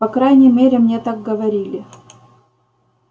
по крайней мере мне так говорили